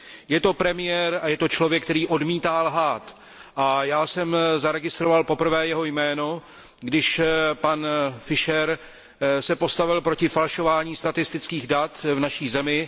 Je to premiér a je to člověk, který odmítá lhát, a já jsem poprvé zaregistroval jeho jméno, když se pan Fischer postavil proti falšování statistických dat v naší zemi.